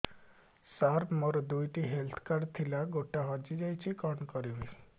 ସାର ମୋର ଦୁଇ ଟି ହେଲ୍ଥ କାର୍ଡ ଥିଲା ଗୋଟେ ହଜିଯାଇଛି କଣ କରିବି